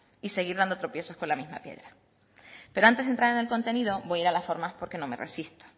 y seguir dando tropiezos con la misma piedra pero antes de entrar en el contenido voy a ir a las formas porque no me resisto